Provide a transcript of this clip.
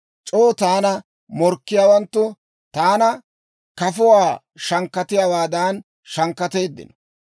C'oo taana morkkiyaawanttu taana kafuwaa shankkatiyaawaadan shankkateeddino.